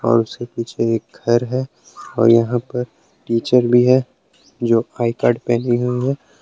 और उसके पीछे एक घर है और यहां पर टीचर भी है जो आई कार्ड पहनी हुई है।